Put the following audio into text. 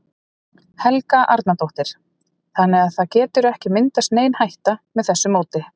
Helga Arnardóttir: Þannig að það getur ekki myndast nein hætta með þessu móti?